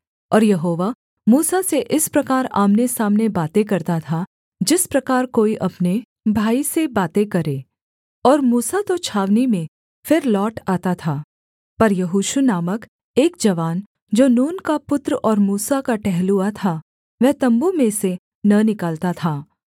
और यहोवा मूसा से इस प्रकार आमनेसामने बातें करता था जिस प्रकार कोई अपने भाई से बातें करे और मूसा तो छावनी में फिर लौट आता था पर यहोशू नामक एक जवान जो नून का पुत्र और मूसा का टहलुआ था वह तम्बू में से न निकलता था